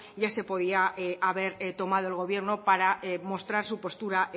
ya se podía haber tomado el gobierno para mostrar su postura